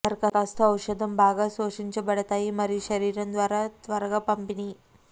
దరఖాస్తు ఔషధం బాగా శోషించబడతాయి మరియు శరీరం ద్వారా త్వరగా పంపిణీ